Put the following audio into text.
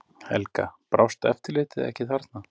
Helga: Brást eftirlitið ekki þarna?